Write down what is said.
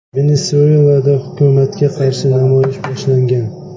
Venesuelada hukumatga qarshi namoyish boshlangan.